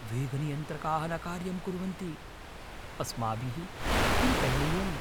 वेगनियन्त्रकाः न कार्यं कुर्वन्ति। अस्माभिः किं करणीयम्?